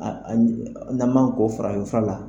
n'an man ko farafin fura la.